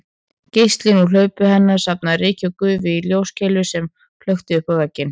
Geislinn úr hlaupi hennar safnaði ryki og gufu í ljóskeilu sem flökti uppá vegginn